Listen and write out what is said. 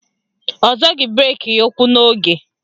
Ọ zọghị breki ya ụ́kwụ́ n'oge.